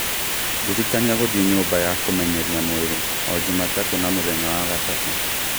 ndirikania gũthiĩ nyũmba ya kũmenyeria mwĩrĩ o jumatatũ na mũthenya wa gatatũ